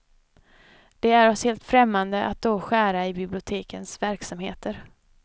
Det är oss helt främmande att då skära i bibliotekens verksamheter.